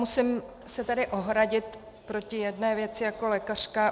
Musím se tady ohradit proti jedné věci jako lékařka.